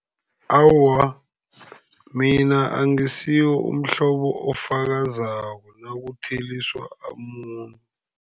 Awa, mina angisuye umhlobo ofakazako nakutheliswa umuntu.